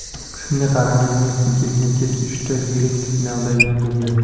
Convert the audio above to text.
Shunga qaramay, Messi ketma-ket uchta yirik finalda yengildi.